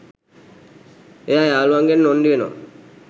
එයා යාළුවන්ගෙන් නොන්ඩි වෙනවා.